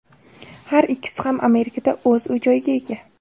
Har ikkisi ham Amerikada o‘z uy-joyiga ega.